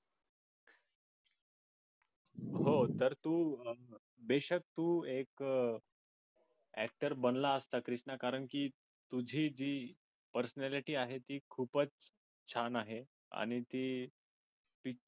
हो तर तू बेशक एक actor बनला असता कृष्णा कारण की तुझी जी personality आहे ती खूपच छान आहे आणि ती ती